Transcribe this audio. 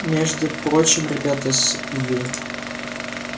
между прочим ребята с ю